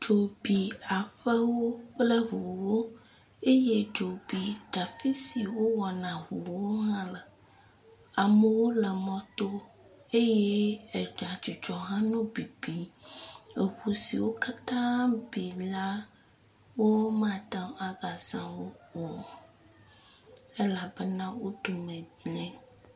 Dzo bi aƒewo kple ŋuwo eye dzo bi te…afi siwo wowɔna ŋuwo hã le. Amewo le mɔto eye agadzudzɔ hã nɔ bibim. Eŋu siwo katã bi la, womate ŋu agaza wo o elabena, wo dome gblẽ.